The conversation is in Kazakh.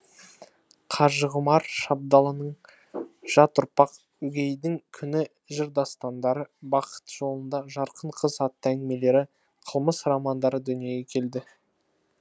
қажығұмар шабдалынұлының жат ұрпақ өгейдің күні жыр дастандары бақыт жолында жарқын қыз атты әңгімелері қылмыс романдары дүниеге келді